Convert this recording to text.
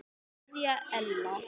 Kveðja Ella.